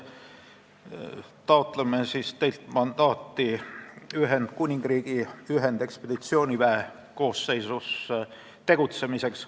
Taotleme teilt mandaati Ühendkuningriigi ühendekspeditsiooniväe koosseisus tegutsemiseks.